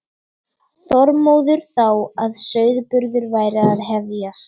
Þormóður þá að sauðburður væri að hefjast.